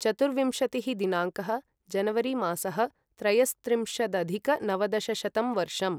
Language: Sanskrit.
चतुर्विंशतिः दिनाङ्कः जनवरिमासः त्रयस्त्रिंशदधिकनवदशशतं वर्षम्